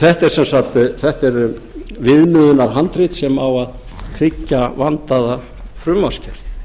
þetta er viðmiðunarhandrit sem á að tryggja vandaða frumvarpsgerð